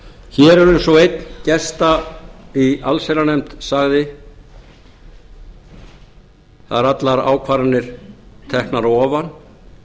hér eins og einn gesta í allsherjarnefnd sagði það eru allar ákvarðanir teknar að ofan